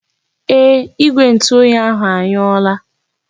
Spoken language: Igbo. Ee, Igwe ntu oyi ahụ anyụọla.